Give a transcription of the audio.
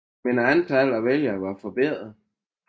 Men antallet af vælgere var lille